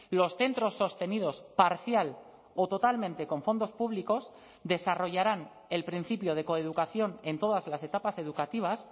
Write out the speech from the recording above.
los centros sostenidos parcial o totalmente con fondos públicos desarrollarán el principio de coeducación en todas las etapas educativas